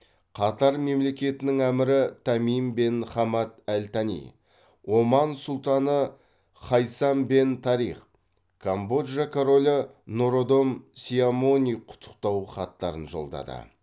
қатар мемлекетінің әмірі тамим бен хамад әл тәни оман сұлтаны хайсам бен тариқ камбоджа королі нородом сиамони құттықтау хаттарын жолдады